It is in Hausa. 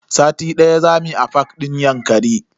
Sati daya zamu yi a fak din Yankari.